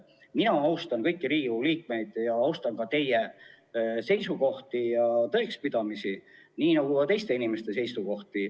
Mina austan kõiki Riigikogu liikmeid ning austan ka teie seisukohti ja tõekspidamisi, nii nagu teistegi inimeste seisukohti.